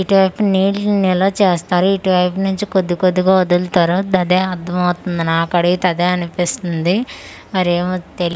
ఇటువైపు నీళ్ళు నిలవచెస్తారు ఇటువైపు నుంచి కొద్దికొద్దిగా వొదుల్తారు దదే అర్ధమవుతుంది నాకడిగితే అదే అనిపిస్తుంది మరేమో తె--